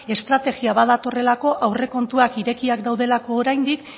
estrategia badatorrelako aurrekontuak irekiak daudelako oraindik